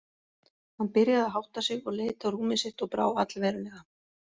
Hann byrjaði að hátta sig og leit á rúmið sitt og brá allverulega.